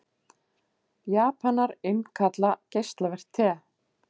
Japanar innkalla geislavirkt te